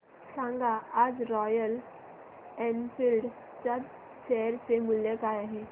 सांगा आज Royal Enfield च्या शेअर चे मूल्य काय आहे